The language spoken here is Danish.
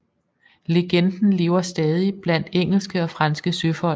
Legenden lever stadig blandt engelske og franske søfolk